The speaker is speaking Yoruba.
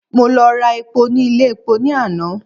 Mo lọ ra epo ní ilé epo ní àná.